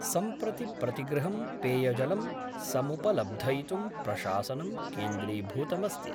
सम्प्रति प्रतिगृहं पेयजलं समुपलब्धयितुं प्रशासनं क्रेन्द्रीभूतमस्ति।